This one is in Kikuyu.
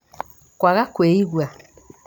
kwaga kwĩigua